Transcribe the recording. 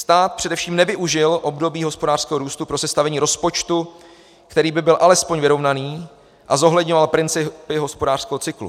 Stát především nevyužil období hospodářského růstu pro sestavení rozpočtu, který by byl alespoň vyrovnaný a zohledňoval principy hospodářského cyklu.